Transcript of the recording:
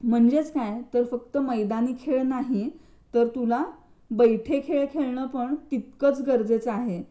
म्हणजेच काय फक्त मैदानी खेळ नाही तर तर तुला बैठे खेळ खेळणं पण तितकंच गरजेचं आहे.